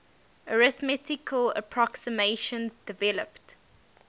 arithmetical approximations developed